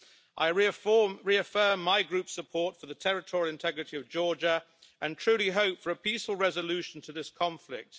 I reaffirm my Group's support for the territorial integrity of Georgia and truly hope for a peaceful resolution to this conflict.